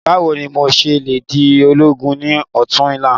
Báwo ni mo se le di ológun ni òtún la?